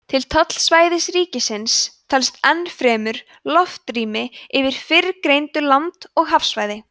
til tollsvæðis ríkisins telst enn fremur loftrými yfir fyrrgreindu land og hafsvæði